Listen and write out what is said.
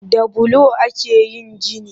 Da bulo ake yin gini